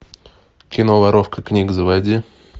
кино воровка книга заводи